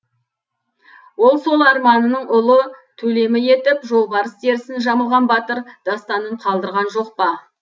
ол сол арманының ұлы төлемі етіп жолбарыс терісін жамылған батыр дастанын қалдырған жоқ па